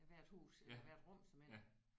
Af hvert hus eller hvert rum såmænd